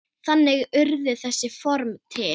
Þannig urðu þessi form til.